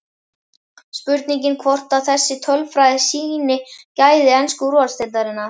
Spurning hvort að þessi tölfræði sýni gæði ensku úrvalsdeildarinnar?